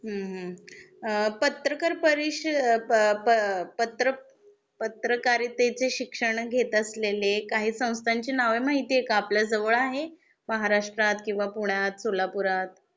हम्म हम्म.अ पत्रकार परिष अ प प पत्र पत्रकारितेचे शिक्षण घेत असलेले काही संस्थांची नाव माहिती आहे का? आपल्या जवळ आहे. महाराष्ट्रात किंवा पुण्या, सोलापुरात,